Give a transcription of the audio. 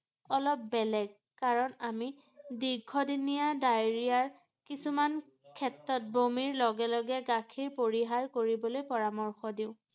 অলপ বেলেগ ৷ কাৰণ আমি দীৰ্ঘদিনীয়া diarrhea -ৰ কিছুমান ক্ষেত্ৰত বমিৰ লগে লগে গাখীৰ পৰিহাৰ কৰিবলৈ পৰামৰ্শ দিওঁ ৷